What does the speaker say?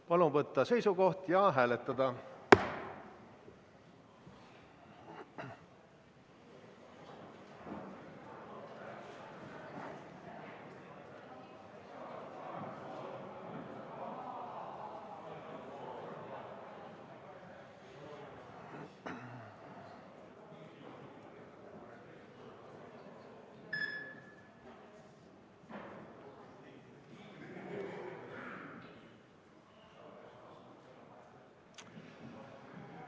Palun võtta seisukoht ja hääletada!